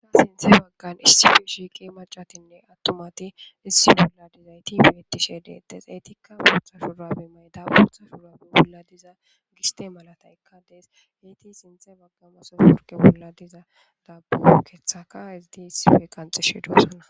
sinthe baggan issi u shiiqi macatinne attumati issi bolla dizayti beetishe deedes eetikka buotha shuurabi may dabuotha shuurabi bolla diza giste malata ekkadees eyti sinthe bagga maso shurke bolla diza dabuo keethaka izdi issife kanxishi duasona